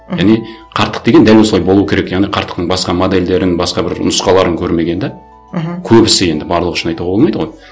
мхм және қарттық деген дәл осылай болу керек яғни қарттықтың басқа модельдерін басқа бір нұсқаларын көрмеген де мхм көбісі енді барлығы үшін айтуға болмайды ғой